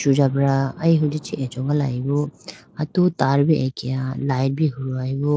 Sujabra aye hunji chibi achogalayibo atu tar bi akeya light bi huhoyi bo.